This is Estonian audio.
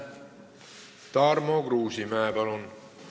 Tarmo Kruusimäe, palun!